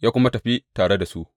Ya kuma tafi tare da su.